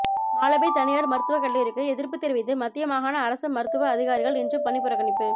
மாலபே தனியார் மருத்துவ கல்லூரிக்கு எதிர்ப்பு தெரிவித்து மத்திய மாகாண அரச மருத்துவ அதிகாரிகள் இன்று பணிப்புறக்கணிப்பு